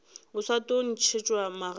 o sa tlo ntšhetšwa magadi